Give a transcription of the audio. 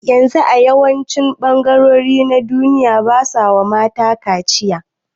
Yanzu a yawancin ɓangarori na duniya basawa mata kaciya